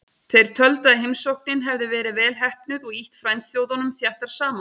Þeir töldu að heimsóknin hefði verið vel heppnuð og ýtt frændþjóðunum þéttar saman.